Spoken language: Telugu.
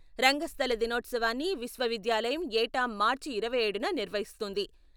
రంగస్థల దినోత్సవాన్ని విశ్వవిద్యాలయం ఏటా మార్చి ఇరవై ఏడున నిర్వహిస్తుంది.